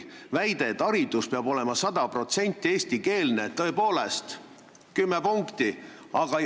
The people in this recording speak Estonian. Väide, et haridus peab olema sada protsenti eestikeelne – tõepoolest, 10 punkti!